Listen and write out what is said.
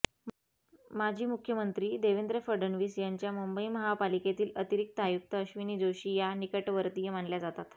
माजी मुख्यमंत्री देवेंद्र फडणवीस यांच्या मुंबई महापालिकेतील अतिरिक्त आयुक्त अश्विनी जोशी या निकटवर्तीय मानल्या जातात